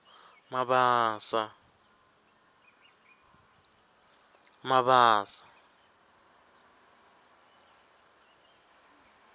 mabasa